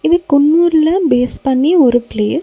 இது குன்னூர்ல பேஸ் பண்ணி ஒரு பிளேஸ் .